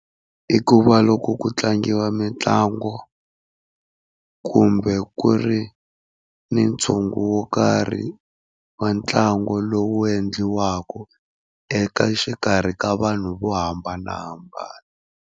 I ku va loko ku tlangiwa mitlangu kumbe ku ri ni ntshungu wo karhi wa ntlangu lowu endliwaka eka xikarhi ka vanhu vo hambanahambana.